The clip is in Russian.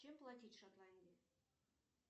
чем платить в шотландии